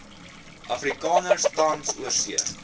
afrikaners tans oorsee